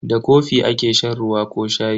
Da kofi ake shan ruwa ko shayi.